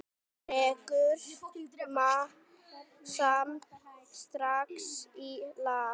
Dregur samt strax í land.